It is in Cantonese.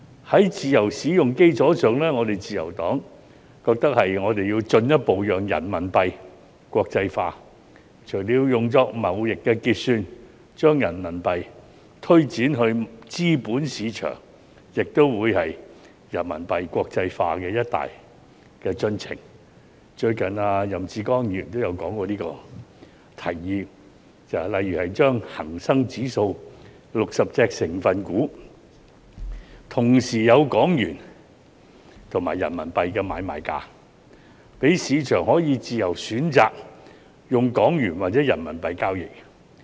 在"自由使用"基礎上，我們自由黨認為我們要進一步讓人民幣國際化，除了用作貿易結算，將人民幣推展至資本市場亦將會是人民幣國際化的一大進程——最近任志剛亦曾提出這項建議——例如恒生指數60隻成分股同時有港元及人民幣的買賣價，讓市場可以自由選擇用港元或人民幣交易。